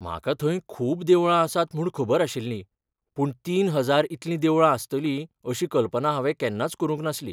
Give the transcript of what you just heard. म्हाका थंय खूब देवळां आसात म्हूण खबर आशिल्लीं पूण तीन हजार इतलीं देवळां आसतलीं अशी कल्पना हांवें केन्नाच करूंक नासली.